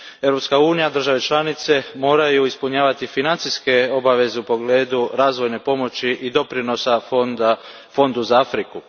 Europska unija, države članice, moraju ispunjavati financijske obaveze u pogledu razvojne pomoći i doprinosa fondu za Afriku.